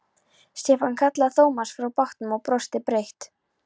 Stefán kallaði Thomas frá bátnum og brosti breitt.